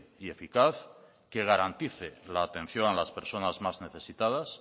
y eficaz que garantice la atención a las personas más necesitadas